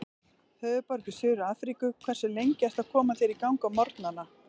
Höfðaborg í Suður-Afríku Hversu lengi ertu að koma þér í gang á morgnanna?